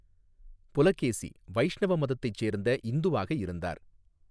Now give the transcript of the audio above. புலகேசி வைஷ்ணவ மதத்தைச் சேர்ந்த இந்துவாக இருந்தார்.